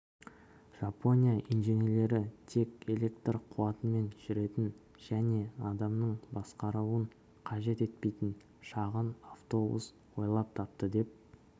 жапония инженерлері тек электр қуатымен жүретін және адамның басқаруын қажет етпейтін шағын автобус ойлап тапты деп